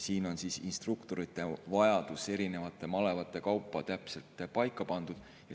Siin on instruktorite vajadus erinevate malevate kaupa täpselt paika pandud.